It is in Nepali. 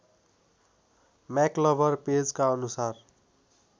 म्याक्लभर पेजेका अनुसार